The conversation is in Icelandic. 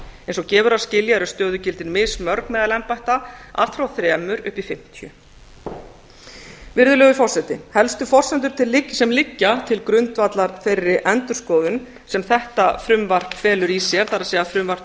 eins og gefur að skilja eru stöðugildin mismörg meðal embætta allt frá þremur upp í fimmtíu virðulegur forseti helstu forsendur sem liggja til grundvallar þeirri endurskoðun sem þetta frumvarp felur í sér það er frumvarp til